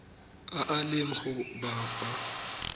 a a leng go bapa